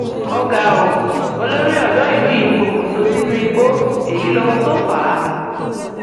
ó ga ọ olórí odò ìlú yìí pokùnso sínú igbó èyí lohun tó fà á